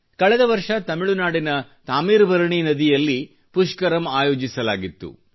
ಕಳೆದ ವರ್ಷ ತಮಿಳುನಾಡಿನ ತಾಮೀರ್ಬರನಿ ನದಿಯಲ್ಲಿ ಪುಷ್ಕರಮ್ ಆಯೋಜಿಸಲಾಗಿತ್ತು